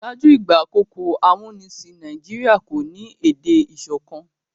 ṣáájú ìgbà àkókò amunisin Nàìjíríà kọ ní èdè ìsọkan